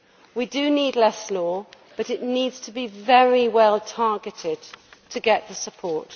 We do need less law, but it needs to be very well targeted to get support.